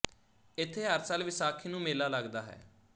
ਇੱਥੇ ਹਰ ਸਾਲ ਵਿਸਾਖੀ ਨੂੰ ਮੇਲਾ ਲੱਗਦਾ ਹੈ